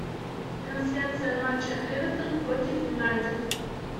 трансляция матча эвертон против юнайтед